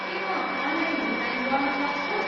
के म अनलाइन भुक्तानी गर्न सक्छु?